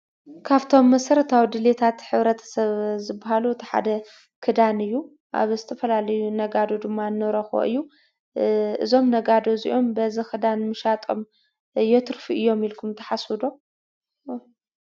ካፍእቶም መሰረታዊ ድልየታት ሕብረተሰብ ዝበሃሉ እቲ ሓደ ክዳን እዩ። ኣብ ዝተፈላለዩ ነጋዶ ድማ ንረኽቦ እዩ። እዞም ነጋዶ እዚኦም በዚ ኽዳን ምሻጦም የትርፉ እዮም እልኩም ትሓስቡ ዶ?